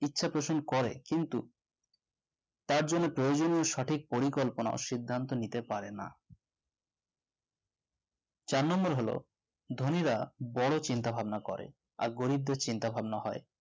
ইচ্ছে পোষণ করে কিন্তু তার জন্য প্রয়োজনীয় সঠিক পরিকল্পনা ও সিদ্ধান্ত নিতে পারে না চার number হলো ধনীরা বড় চিন্তা ভাবনা করে আর গরিবদের চিন্তাভাবনা হয়